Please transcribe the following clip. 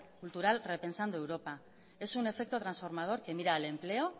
cultural reprensando europa es un efecto transformador que mira la empleo